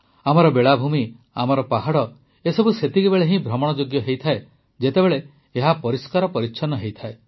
ଆମର ବେଳାଭୂମି ଆମର ପାହାଡ଼ ଏସବୁ ସେତେବେଳେ ହିଁ ଭ୍ରମଣଯୋଗ୍ୟ ହୁଏ ଯେତେବେଳେ ଏହା ପରିଷ୍କାର ପରିଚ୍ଛନ୍ନ ଥାଏ